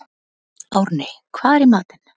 Árney, hvað er í matinn?